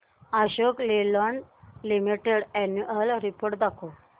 Ashok Leyland limited annual report दाखव